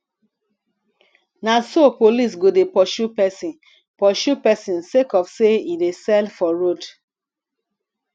na so police go dey pursue pesin pursue pesin sake of sey e dey sell for road